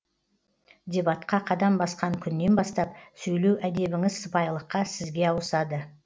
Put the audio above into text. дебатқа қадам басқан күннен бастап сөйлеу әдебіңіз сыпайылыққа сізге ауысады